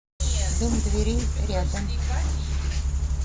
дом дверей рядом